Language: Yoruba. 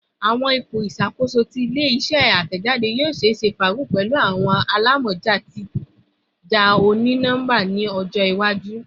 Awọn ipo iṣakoso ti ile-iṣẹ atẹjade yoo ṣeese faagun lati pẹlu awọn alamọja titaja oni-nọmba ni ọjọ iwaju